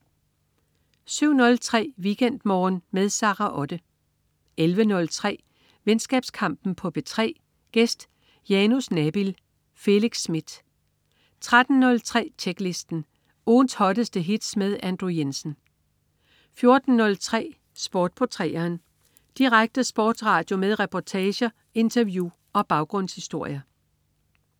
07.03 WeekendMorgen med Sara Otte 11.03 Venskabskampen på P3. Gæst: Janus Nabil. Felix Smith 13.03 Tjeklisten. Ugens hotteste hits med Andrew Jensen 14.03 Sport på 3'eren. Direkte sportsradio med reportager, interview og baggrundshistorier